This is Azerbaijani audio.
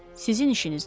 Sizin işinizdir?